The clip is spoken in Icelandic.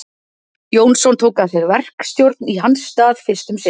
Jónsson tók að sér verkstjórn í hans stað fyrst um sinn.